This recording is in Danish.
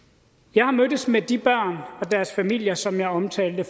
jeg har mødtes med de børn og deres familier som jeg omtalte